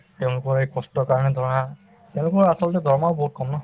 তেওঁলোকৰ এই কষ্টৰ কাৰণে ধৰা তেওঁলোকৰ আচলতে দৰমহাও বহুত কম ন